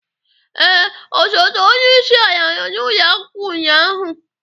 Ee, osote onye isi ala nọ n'ụlọ akwụkwọ ụnyaahụ?